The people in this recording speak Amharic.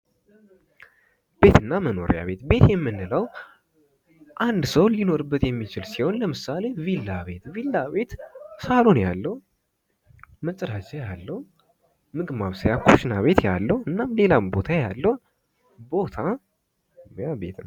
ቤትና መኖሪያ ቤት ቤት የምንለው 1 ሰው ሊኖርበት የሚችል ሲሆን፤ ለምሳሌ ቪላ ቤት ቪላ ቤት ሳሎን ያለው፣ መፀዳጃ ያለው፣ ምግብ ማብሰያ ኩሽና ቤት ያለው እና ሌላም ቦታ ያለው ቦታ ይሃ ቤት ነው።